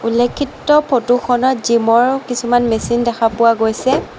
উল্লেখিত ফটোখনত জিমৰ কিছুমান মেচিন দেখা পোৱা গৈছে।